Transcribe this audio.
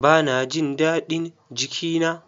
Ba na jin daɗin jiki na.